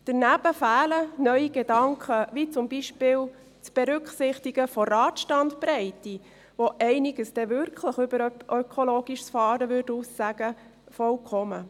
Daneben fehlen neue Gedanken gänzlich, wie beispielsweise das Berücksichtigen der Radstandbreite, obwohl diese dann wirklich einiges über ökologisches Fahren aussagen würde.